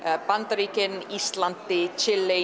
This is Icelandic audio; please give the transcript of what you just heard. Bandaríkjunum Íslandi